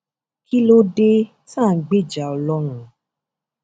kí ló dé tá à ń gbèjà ọlọrun